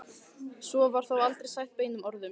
Svo var þó aldrei sagt beinum orðum.